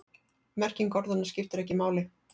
Merking orðanna skiptir ekki máli.